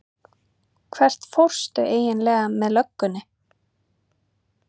Hvert fórstu eiginlega með löggunni?